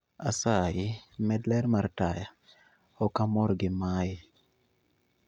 Asayi med ler mar taya ok amor gi mae